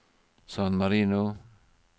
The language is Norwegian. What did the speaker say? San Marino